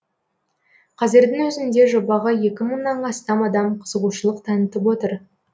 қазірдің өзінде жобаға екі мыңнан астам адам қызығушылық танытып отыр